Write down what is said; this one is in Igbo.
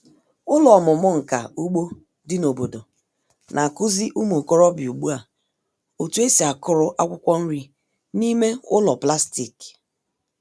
Ụlọ ọmụmụ nka ugbo dị n'obodo na-akụzi ụmụ okorobịa ugbu a otu esi akụrụ akwụkwọ nri n'ime ụlọ plastik.